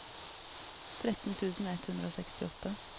tretten tusen ett hundre og sekstiåtte